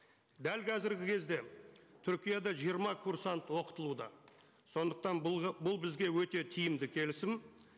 дәл қазіргі кезде түркияда жиырма курсант оқытылуда сондықтан бұл бұл бізге өте тиімді келісім